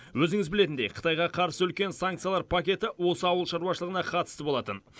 өзіңіз білетіндей қытайға қарсы үлкен санкциялар пакеті осы ауыл шаруашылығына қатысты болатын